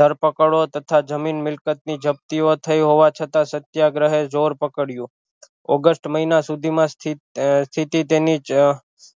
ધરપકડો તથા જમીન મિલક્ત ની જપ્તી ઑ થઈ હોવા છતાં સત્યાગ્રહે જોર પકડયું ઓગસ્ટ મહિના સુધી મા